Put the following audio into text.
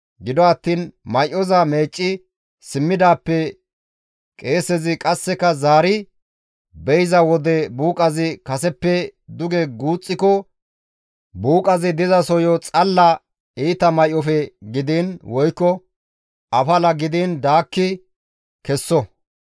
Gido attiin may7oza meecci simmidaappe qeesezi qasseka zaari be7iza wode buuqazi kaseppe duge guuxxiko buuqazi dizasoyo xalla iita may7ofe gidiin woykko afala gidiin daakki kesso.